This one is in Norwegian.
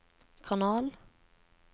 kanal